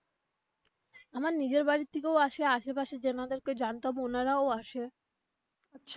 আমার নিজের বাড়ি থেকেও আসে আশে পাশে যেনাদের কে জানতাম ওনারাও আসে.